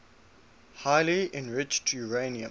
highly enriched uranium